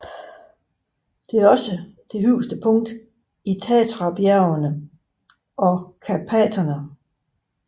Det er også det højeste punkt i Tatrabjergene og Karpaterne